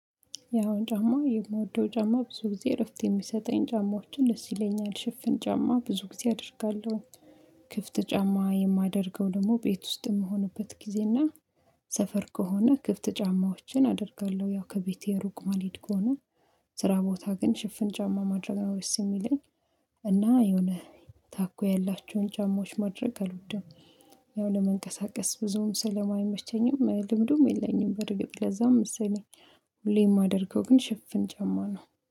ያው ጫማ የምወደው ጫማ ብዙ ጊዜ እረፍት የሚሰጠኝ ጫማዎችን እስ ይለኛል ሽፍን ጫማ ብዙ ጊዜ አደርጋለሁ። ክፍት ጫማ የማደርገው ደግሞ ቤት ውስጥ የምሆንበት ጊዜ እና ሰፈር ከሆነ ክፍት ጫማዎችን አደርጋለሁ። ያው ከቤቴ ሩቅ ማልሄድ ከሆነ ስራ ቦታ ግን ሽፍን ጫማ ማድረግ ነው ደስ የሚለኝ። እና የሆነ ታኮ ያላችሁን ጫማዎች ማድረግ አልወድም። ያው ለመንቀሳቀስ ብዙም ስለማይመቸኝም ልምዱም የለኝም በርግጥ ለዛም መሰለኝ። ሁሌ የማደርገው ግን ሽፍን ጨማነው